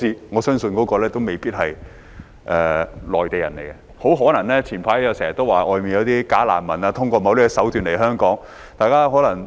我相信那些人未必是內地人，很可能像早前經常有人說的，外面有些假難民透過某些手段來港。